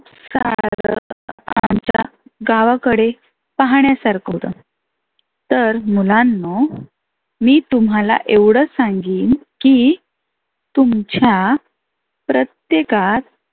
गावाकडे पाहण्यासारख होतं. तर मुलांनो मी तुम्हाला एवढच सांंगीन की तुमच्या प्रत्येकात